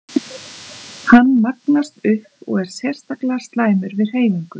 Hann magnast upp og er sérstaklega slæmur við hreyfingu.